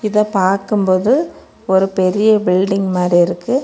இத பாக்கும் போது ஒரு பெரிய பில்டிங் மாரி இருக்கு.